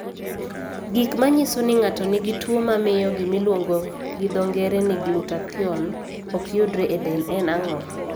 Gik manyiso ni ng'ato nigi tuwo mamio gimiluongo gi dho ng'ere ni glutathione ok yudre e del en ang'o?